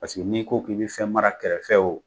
Paseke n'i ko k'i bɛ fɛn mara kɛrɛfɛ o